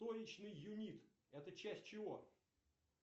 точечный юнит это часть чего